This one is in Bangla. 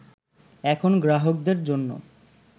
এখন গ্রাহকদের জন্য